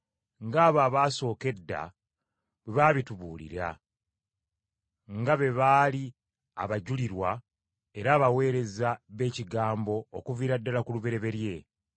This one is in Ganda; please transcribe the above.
ng’abo abaasooka edda bwe baabitubuulira, nga be baali abajulirwa era abaweereza b’Ekigambo okuviira ddala ku lubereberye.